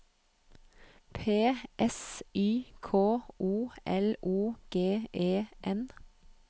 P S Y K O L O G E N